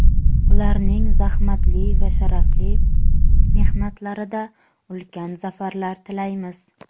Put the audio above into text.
ularning zahmatli va sharafli mehnatlarida ulkan zafarlar tilaymiz.